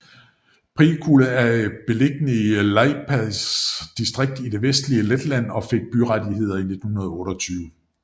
Priekule er beliggende i Liepājas distrikt i det vestlige Letland og fik byrettigheder i 1928